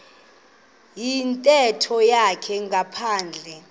yintetho yakhe ngaphandle